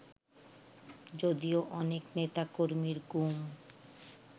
যদিও অনেক নেতাকর্মীর গুম